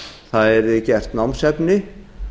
það yrði gert námsefni